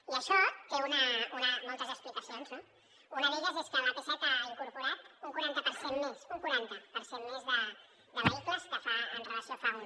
i això té moltes explicacions no una d’elles és que l’ap set ha incorporat un quaranta per cent més un quaranta per cent més de vehicles amb relació a fa un